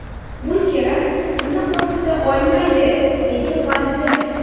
Bu terakt bizni qo‘rqita olmaydi”, dedi vazir.